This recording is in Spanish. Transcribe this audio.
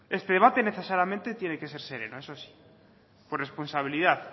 este debate necesariamente tiene que ser sereno eso sí por responsabilidad